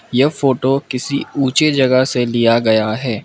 यह फोटो किसी ऊचे जगह से लिया गया है।